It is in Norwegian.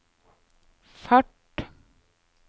fart